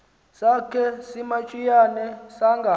sakhe simantshiyane sanga